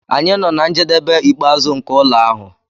anyị nọ na njedebe ikpeazụ nke ụlọ ahụ